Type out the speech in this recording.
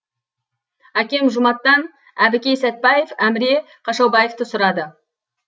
әкем жұматтан әбікей сәтпаев әміре қашаубаевты сұрады